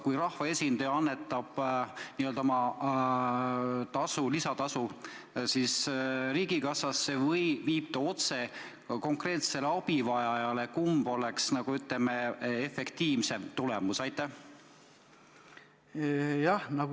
Kui rahvaesindaja annetab n-ö oma lisatasu riigikassasse või annab otse konkreetsele abivajajale, kumb on efektiivsem tulemus?